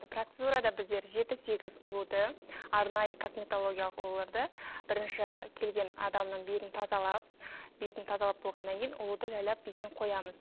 процедурада біздер жеті сегіз ұлуды арнайы косметологиялық ұлуларды бірінші келген адамның бетін тазалап бетін тазалап болғаннан кейін ұлуды жайлап бетіне қоямыз